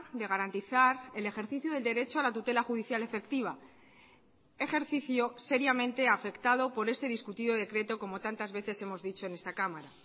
de garantizar el ejercicio del derecho a la tutela judicial efectiva ejercicio seriamente afectado por este discutido decreto como tantas veces hemos dicho en esta cámara